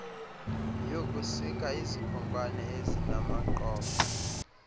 yokusika izikhonkwane ezinamaqoqo